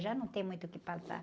Já não tem muito o que passar.